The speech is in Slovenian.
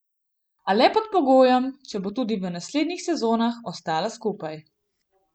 A le pod pogojem, če bo tudi v naslednjih sezonah ostala skupaj.